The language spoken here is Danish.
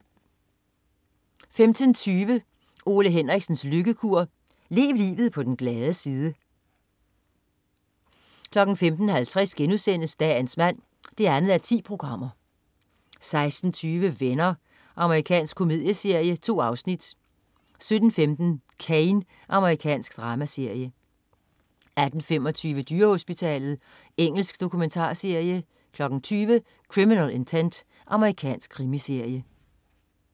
15.20 Ole Henriksens lykkekur. Lev livet på den glade side 15.50 Dagens mand 2:10* 16.20 Venner. Amerikansk komedieserie. 2 afsnit 17.15 Cane. Amerikansk dramaserie 18.25 Dyrehospitalet. Engelsk dokumentarserie 20.00 Criminal Intent. Amerikansk krimiserie